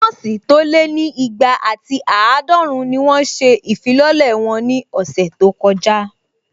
Nọ́ọ̀sì tó lé ní igba àti àádọ́run ni wọ́n ṣe ìfilọ́lẹ̀ wọn ní ọ̀sẹ̀ tó kọjá